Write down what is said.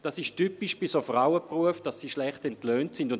Es ist typisch für Frauenberufe, dass sie schlecht entlohnt werden.